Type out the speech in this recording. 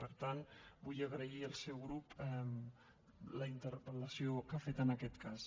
per tant vull agrair al seu grup la interpel·lació que ha fet en aquest cas